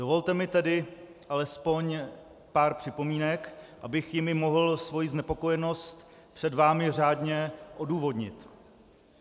Dovolte mi tedy alespoň pár připomínek, abych jimi mohl svoji znepokojenost před vámi řádně odůvodnit.